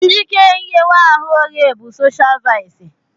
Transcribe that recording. Njike nghewa ahụ oghe bụ soshial vaịsị.